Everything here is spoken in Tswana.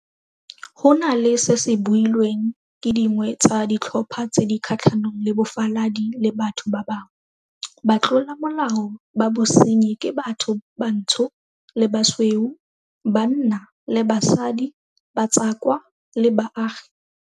Go na le seo se builweng ke dingwe tsa ditlhopha tse di kgatlhanong le bofaladi le batho ba bangwe, batlolamolao ba bosenyi ke batho bantsho le basweu, banna le basadi, batswakwa le baagi.